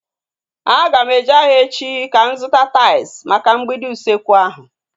Aga m eje ahịa echi ka m zụta tais maka mgbidi usekwu ahu